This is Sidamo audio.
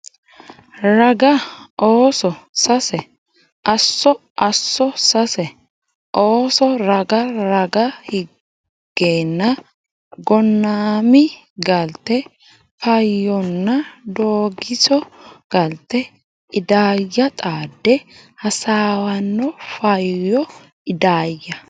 raga Ooso Sase Asso Asso Sase Ooso raga raga higgeenna Gonnami galte Faayyonna Doogiso galte Idaayya xaade hasaawanno Faayyo Idaayya !